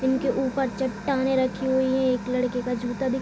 इनके ऊपर चट्टानें रखी हुई है एक लड़के का जूता दिख--